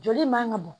Joli man ka bɔn